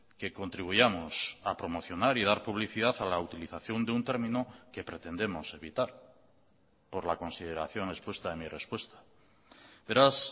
que contribuyamos a promocionar y dar publicidad a la utilización de un término que pretendemos evitar por la consideración expuesta en mi respuesta beraz